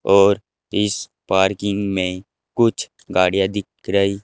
और इस पार्किंग में कुछ गाड़ियां दिख रही--